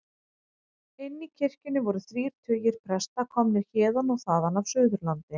Inni í kirkjunni voru þrír tugir presta, komnir héðan og þaðan af Suðurlandi.